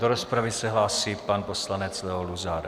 Do rozpravy se hlásí pan poslanec Leo Luzar.